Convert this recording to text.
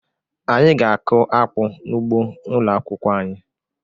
Anyị ga-akụ akpu n'ugbo ụlọ akwụkwọ anyị